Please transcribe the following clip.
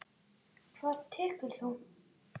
Hvað tekur þú?